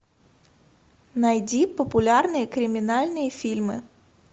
найди популярные криминальные фильмы